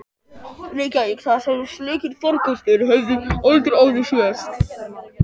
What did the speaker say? Reykjavík, þar sem slíkir farkostir höfðu aldrei áður sést.